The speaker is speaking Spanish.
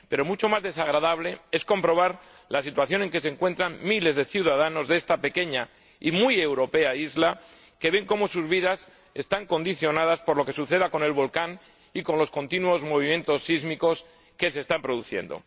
Pero mucho más desagradable es comprobar la situación en que se encuentran miles de ciudadanos de esta pequeña y muy europea isla, que ven cómo sus vidas están condicionadas por lo que suceda con el volcán y con los continuos movimientos sísmicos que se están produciendo.